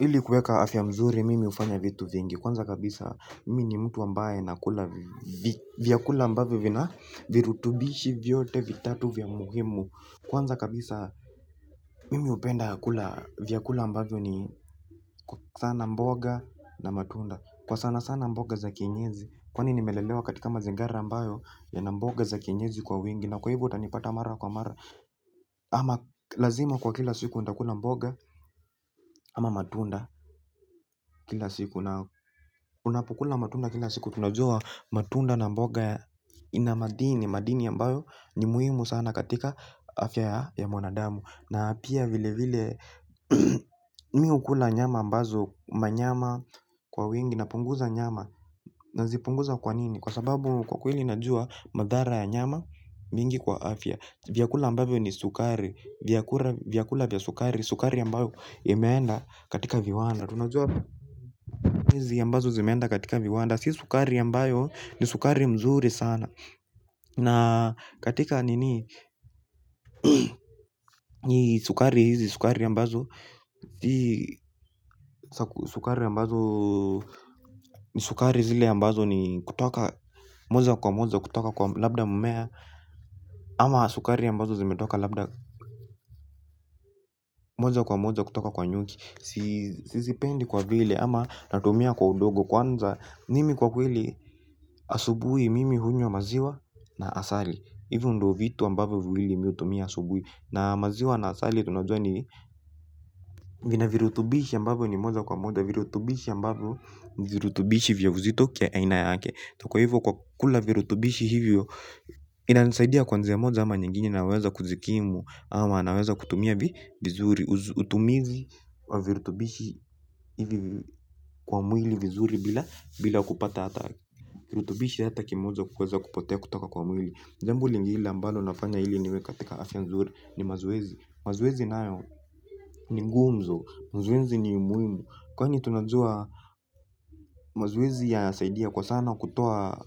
Ili kuweka afya mzuri mimi ufanya vitu vingi. Kwanza kabisa mimi ni mtu ambaye nakula vyakula ambavyo vina virutubishi vyote vitatu vya muhimu. Kwanza kabisa mimi upenda kula vyakula ambavyo ni sana mboga na matunda. Kwa sana sana mboga za kienyeji. Kwani nimelelewa katika mazingara ambayo yana mboga za kienyeji kwa wingi. Na kwa hivo utanipata mara kwa mara. Ama lazima kwa kila siku nitakula mboga ama matunda kila siku. Unapokula matunda kila siku tunajua matunda na mboga ina madini. Madini ambayo ni muhimu sana katika afya ya mwanadamu na pia vile vile mi hukula nyama ambazo manyama kwa wingi napunguza nyama nazipunguza kwa nini kwa sababu kwa kweli najua madhara ya nyama mingi kwa afya vyakula ambavyo ni sukari vyakura vyakula vya sukari sukari ambayo imeenda katika viwanda tunajua kuna sukari izi ambazo zimeenda katika viwanda si sukari ambayo ni sukari mzuri sanaa. Na katika nini sukari hizi sukari ambazo sukari ambazo ni sukari zile ambazo ni kutoka moja kwa moja kutoka kwa labda mmea. Ama sukari ambazo zimetoka labda moja kwa moja kutoka kwa nyuki sizipendi kwa vile ama natumia kwa udogo kwanza mimi kwa kweli asubui mimi hunywa maziwa na asali ivo ndo vitu ambavyo viwili mi utumia asubui na maziwa na asali tunajua ni vina virutubishi ambavyo ni moja kwa moja virutubishi ambavyo ni virutubishi vya uzito kia aina yake kwa hivyo kwa kula virutubishi hivyo. Inanisaidia kwa nji moja ama nyingine naweza kujikimu. Ama naweza kutumia vizuri. Utumizi kwa virutubishi ivi kwa mwili vizuri. Bila kupata ata kirutubishi hata kimoja kuweza kupotea kutoka kwa mwili jambo lingile ambalo nafanya ili niwe katika afya nzuri ni mazoezi. Mazoezi nayo ni ngumzo, mzoezi ni umuimu. Kwani tunajua mazoezi yanasaidia kwa sana kutoa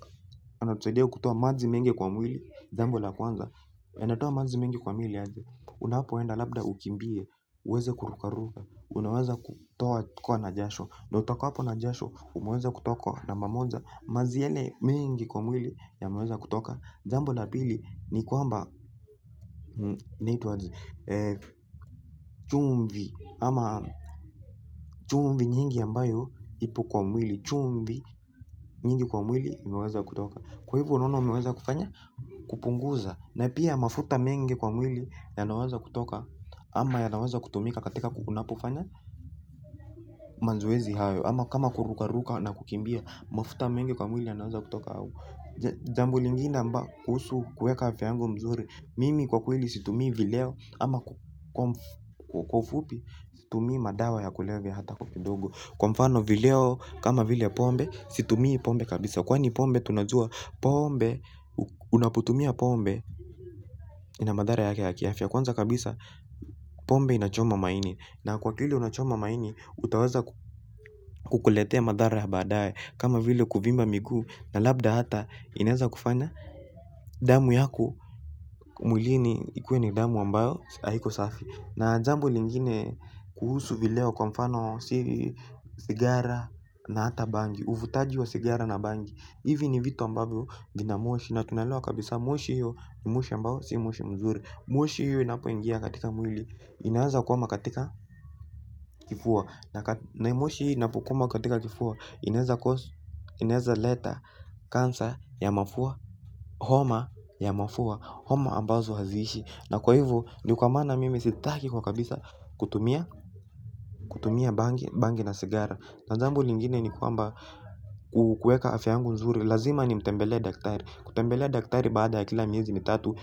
yanatusaidia. Kutoa maji mengi kwa mwili, jambo la kwanza yanatoa maji mengi kwa mwili aje. Unapoenda labda ukimbie, uweze kurukaruka. Unaweza kutokwa na jasho na utokapwo na jasho umeweza kutokwa na namba moja mazi yale mengi kwa mwili yameweza kutoka jambo la pili ni kwamba chumvi ama chumvi nyingi ambayo ipo kwa mwili chumvi nyingi kwa mwili imeweza kutoka. Kwa ivo unaona umweza kufanya kupunguza na pia mafuta mengi kwa mwili yanaweza kutoka. Ama yanaweza kutumika katika ku unapofanya manzoezi hayo. Ama kama kurukaruka na kukimbia mafuta mengi kwa mwili yanaweza kutoka au jambo lingine kuhusu kuweka afya yangu mzuri mimi kwa kweli situmii vileo ama kwa ufupi situmii madawa ya kulevya hata kwa kidogo kwa mfano vileo kama vile pombe situmii pombe kabisa kwani pombe tunajua pombe unapotumia pombe ina madhara yake ya kiafya kwanza kabisa pombe inachoma maini. Na kwa kile unachoma maini, utaweza kukuletea madhara ya baadaye. Kama vile kuvimba miguu na labda hata, inaeza kufanya damu yako mwilini ikuwe ni damu ambayo haiko safi na jambo lingine kuhusu vileo kwa mfano sigara na hata bangi uvutaji wa sigara na bangi hivi ni vitu ambavyo vina moshi na tunaelewa kabisa moshi hiyo ni moshi ambayo si moshi mzuri. Moshi hiyo inapoingia katika mwili. Inaweza kwama katika kifua. Naimoshi hii inapokwama katika kifua. Inaweza cause. Inaweza leta kansa ya mafua. Homa ya mafua. Homa ambazo haziishi. Na kwa hivo. Ndo kwa maana mimi sitaki kwa kabisa. Kutumia kutumia bangi bangi na sigara na jambo lingine ni kwamba ku kuweka afya yangu nzuri. Lazima nimtembelee daktari. Kutembelea daktari baada ya kila miezi mitatu.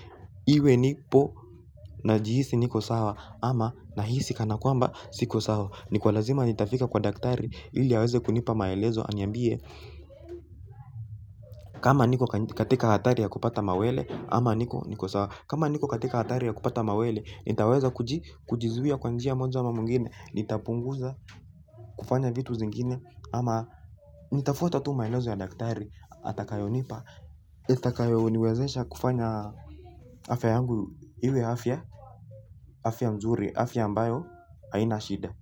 Iwe nipo. Najihisi niko sawa. Ama nahisi kana kwamba siko sawa, ni kwa lazima nitafika kwa daktari. Ili aweze kunipa maelezo. Aniambie, kama niko katika hatari ya kupata mawele. Kama niko katika hatari ya kupata mawele. Nitaweza kujizuia. Kujizuia kwa njia moja ama mwingine. Nitapunguza kufanya vitu zingine. Ama nitafuata tu maelezo ya daktari. Atakayonipa yatakayo niwezesha kufanya. Afya yangu, iwe afya afya nzuri afya ambayo haina shida.